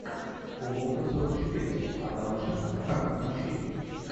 уловка сорок четыре адама шенкмана включи